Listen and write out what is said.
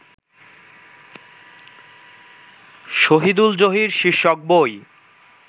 শহীদুল জহির শীর্ষক বই